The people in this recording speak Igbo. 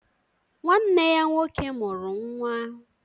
..Nwanne ya nwoke mụrụ nwa